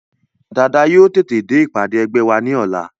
Dàda yóò tètè dé ìpàdé ẹgbẹ́ wa ní ọ̀la